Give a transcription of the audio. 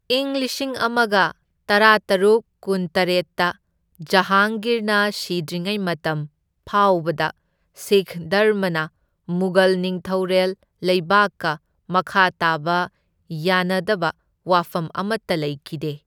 ꯏꯪ ꯂꯤꯁꯤꯡ ꯑꯃꯒ ꯇꯔꯥꯇꯔꯨꯛ ꯀꯨꯟꯇꯔꯦꯠꯇ ꯖꯍꯥꯡꯒꯤꯔꯅ ꯁꯤꯗ꯭ꯔꯤꯉꯩ ꯃꯇꯝ ꯐꯥꯎꯕꯗ ꯁꯤꯈ ꯙꯔꯃꯅ ꯃꯨꯘꯜ ꯅꯤꯡꯊꯧꯔꯦꯜ ꯂꯩꯕꯥꯛꯀ ꯃꯈꯥ ꯇꯥꯕ ꯌꯥꯅꯗꯕ ꯋꯥꯐꯝ ꯑꯃꯠꯇ ꯂꯩꯈꯤꯗꯦ꯫